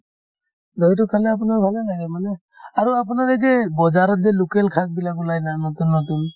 dahi তো খালে আপোনাৰ ভালে হয় মানে আৰু আপোনাৰ এই যে বজাৰত যে local শাকবিলাক ওলাই না নতুন নতুন